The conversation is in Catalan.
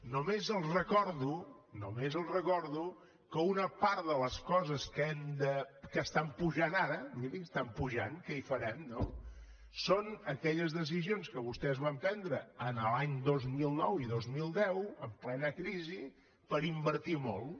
només els recordo només els recordo que una part de les coses que estan pujant ara miri estan pujant què hi farem no són aquelles decisions que vostès van prendre els anys dos mil nou i dos mil deu en plena crisi per invertir molt